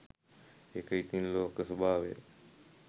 ඒක ඉතිං ලෝක ස්වභාවය